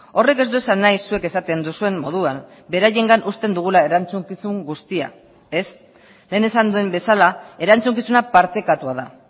horrek ez du esan nahi zuek esaten duzuen moduan beraiengan uzten dugula erantzukizun guztia ez lehen esan duen bezala erantzukizuna partekatua da